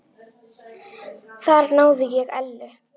Þar náði ég Ellu.